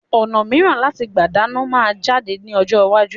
Ọ̀nà miran láti gbà dáná máa jáde ní ọjọ́ iwájú